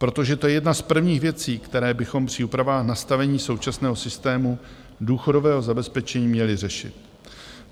Protože to je jedna z prvních věcí, které bychom při úpravách nastavení současného systému důchodového zabezpečení měli řešit.